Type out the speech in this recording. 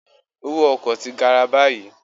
Owó ọkọ̀ ti gara báyìí